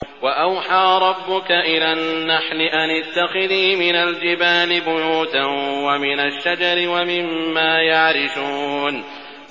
وَأَوْحَىٰ رَبُّكَ إِلَى النَّحْلِ أَنِ اتَّخِذِي مِنَ الْجِبَالِ بُيُوتًا وَمِنَ الشَّجَرِ وَمِمَّا يَعْرِشُونَ